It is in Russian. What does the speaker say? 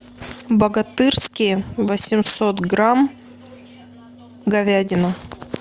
богатырские восемьсот грамм говядина